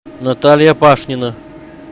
наталья пашнина